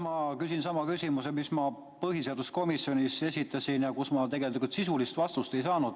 Ma küsin sama küsimuse, mille ma põhiseaduskomisjonis esitasin ja millele ma tegelikult sisulist vastust ei saanud.